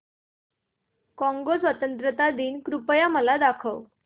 Congo स्वतंत्रता दिन कृपया मला दाखवा